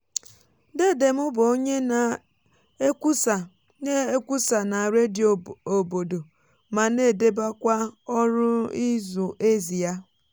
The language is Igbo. dede m bụ onye na-ekwusa na na-ekwusa na redio obodo ma n' edébékwá ọrụ ịzụ ézì yá.